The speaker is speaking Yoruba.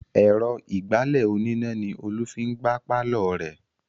Èrò ìgbálẹ̀ oníná ni Olú fi ń gbá pàlọ́ rẹ̀